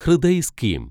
Hriday scheme